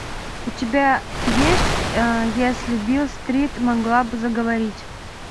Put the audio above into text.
у тебя есть если билл стрит могла бы заговорить